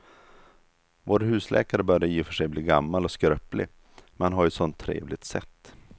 Vår husläkare börjar i och för sig bli gammal och skröplig, men han har ju ett sådant trevligt sätt!